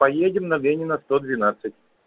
поедем на ленина сто двенадцать